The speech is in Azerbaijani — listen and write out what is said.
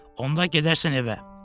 Onda gedərsən evə.